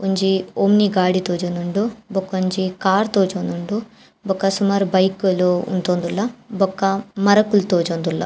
ಒಂಜಿ ಒಮ್ನಿ ಗಾಡಿ ತೋಜೊಂದುಂಡು ಬೊಕೊಂಜಿ ಕಾರ್ ತೋಜೊಂದುಂಡು ಬೊಕ ಸುಮಾರ್ ಬೈಕ್ ಲು ಉಂತೊಂದುಲ್ಲ ಬೊಕ ಮರಕುಲು ತೋಜೊಂದುಲ್ಲ.